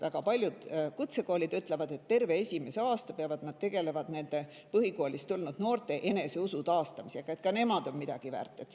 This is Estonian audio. Väga paljud kutsekoolid ütlevad, et terve esimese aasta jooksul peavad nad tegelema põhikoolist tulnud noorte eneseusu taastamisega,, et ka nemad on midagi väärt.